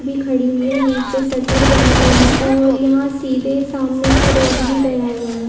भी खड़ी है। नीचे शटर बनी हुई है और यहाँ सीधे सामने से रोड भी गया हुआ है।